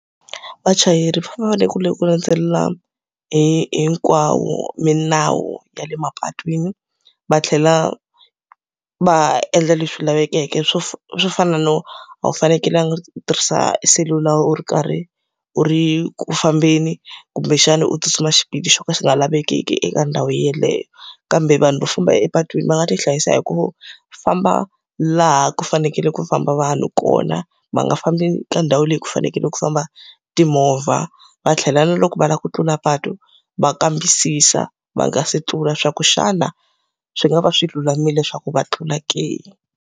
Vachayeri va fanekele ku landzelela hinkwayo milawu ya le mapatwini, va tlhela va endla leswi lavekeke swo swo fana no a wu fanekelanga ku tirhisa eselula u ri karhi u ri ku fambeni, kumbexana u tsutsuma xipidi xo ka xi nga lavekeki eka ndhawu yeleyo. Kambe vanhu vo famba epatwini va nga ti hlayisa hi ku famba laha ku fanekele ku famba vanhu kona, va nga fambi ka ndhawu leyi ku fanekele ku famba timovha. Va tlhela na loko va lava ku tlula patu va kambisisa va nga se tlula swa ku xana swi nga va swi lulamile leswaku va tlula ke?